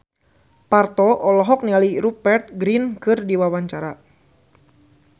Parto olohok ningali Rupert Grin keur diwawancara